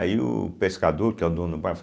o pescador, que é o dono do bairro, fa